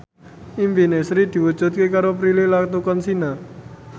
impine Sri diwujudke karo Prilly Latuconsina